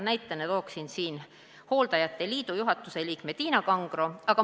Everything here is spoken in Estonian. Näitena toon siin hooldajate liidu juhatuse liikme Tiina Kangro.